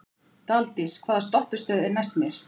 Daldís, hvaða stoppistöð er næst mér?